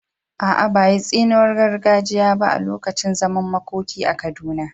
A’a, ba a yi tsiniwar gargajiya ba a lokacin zaman makoki a Kaduna.